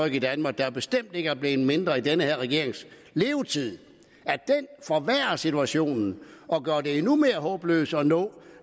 i danmark der bestemt ikke er blevet mindre i den her regerings levetid forværrer situationen og gør det endnu mere håbløst at opnå